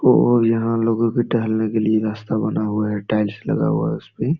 और यहाँ लोगों के टहलने के लिए रास्ता बना हुआ है। टाइल्स लगा हुआ है उसपे ।